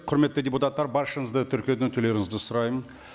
құрметті депутаттар баршаңызды тіркеуден өтулеріңізді сұраймын